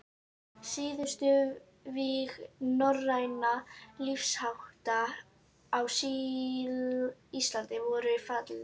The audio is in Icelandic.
Síðustu vígi norrænna lífshátta á Íslandi voru fallin.